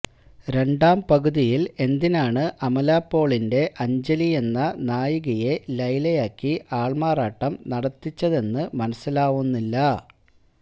രണ്ടാം പകുതിയിൽ എന്തിനാണ് അമലാപോളിന്റെ അഞ്ജലിയെന്ന നായികയെ ലൈലയാക്കി ആൾമാറാട്ടം നടത്തിച്ചതെന്ന് മനസ്സിലാവുന്നില്ല